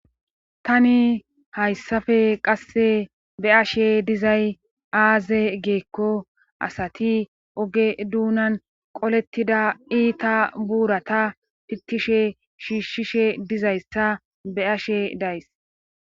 tani hayssafe qasse be7ashe dizay aaze giikko asati oge duunan qolettida iita buurata pittishe shiishshishe dizayssa be7ashe days.